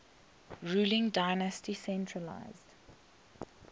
ruling dynasty centralised